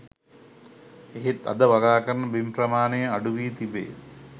එහෙත් අද වගාකරන බිම් ප්‍රමාණය අඩුවී තිබේ